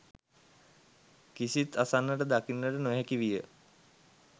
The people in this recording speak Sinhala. කිසිත් අසන්නට දකින්නට නොහැකි විය